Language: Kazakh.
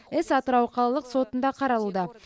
іс атырау қалалық сотында қаралуда